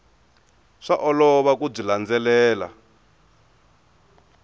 swa olova ku byi landzelela